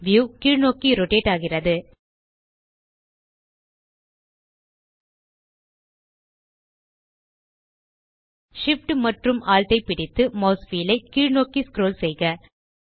view கீழ்நோக்கி rotate ஆகிறது Shift மற்றும் Alt ஐ பிடித்து மாஸ் வீல் ஐ கீழ்நோக்கி ஸ்க்ரோல் செய்க